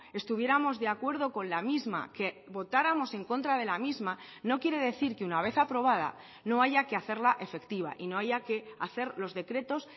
estuviéramos de acuerdo con la misma que votáramos en contra de la misma no quiere decir que una vez aprobada no haya que hacerla efectiva y no haya que hacer los decretos